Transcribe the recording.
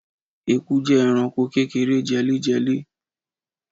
ẹkú jẹ ẹranko kékeré jẹléjẹlé